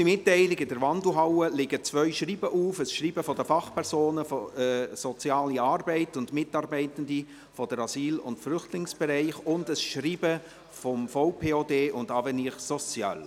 Noch eine kurze Mitteilung: In der Wandelhalle liegen zwei Schreiben auf: ein Schreiben von den Fachpersonen Soziale Arbeit und den Mitarbeitenden des Asyl- und Flüchtlingsbereichs sowie ein Schreiben von VPOD und Avenir Sociale.